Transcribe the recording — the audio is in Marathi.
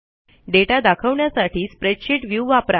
दाता दाखवण्यासाठी स्प्रेडशीट व्ह्यू वापरा